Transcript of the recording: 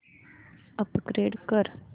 upgrade कर